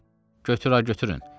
Götür-götürün.